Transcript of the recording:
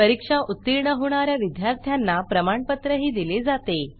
परीक्षा उत्तीर्ण होणा या विद्यार्थ्यांना प्रमाणपत्रही दिले जाते